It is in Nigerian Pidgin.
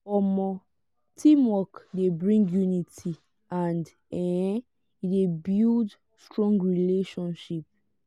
um teamwork de bring unity and um e de build strong relationship